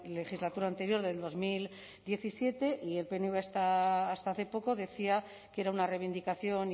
legislatura anterior del dos mil diecisiete y el pnv hasta hace poco decía que era una reivindicación